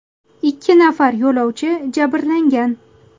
Ikki nafar yo‘lovchi jabrlangan.